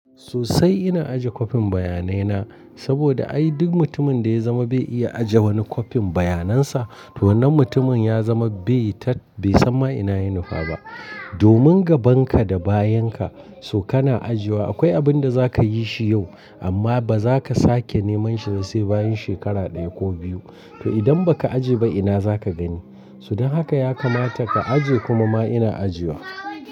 Sosai ina aje kwafin bayanai na, saboda ai duk mutumin da ya zama bai iya aje wani kwafin bayanan sa, to wannan mutumin ya zama bai tat, bai san ma ina ya nufa ba. Domin gaban ka da bayan ka, so kana ajiwa akwai abin da za ka yi shi yau, amma ba za ka sake neman shi da sai bayan shekara ɗaya ko biyu. To idan ba ka aje ba ina za ka gani? Su don haka ya kamata ka aje kuma ma ina ajiwa.